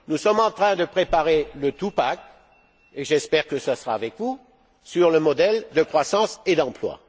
Nous sommes en train de préparer le two pack et j'espère que ce sera avec vous, sur le modèle de croissance et d'emploi.